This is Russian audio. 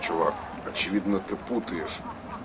чувак очевидно ты путаешь